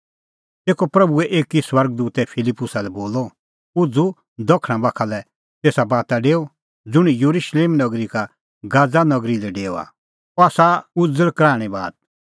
तेखअ प्रभूए एकी स्वर्ग दूतै फिलिप्पुसा लै बोलअ उझ़ू और दखणा बाखा लै तेसा बाता डेऊ ज़ुंण येरुशलेम नगरी का गाजा नगरी लै डेओआ अह आसा उज़ल़ कराहणीं बात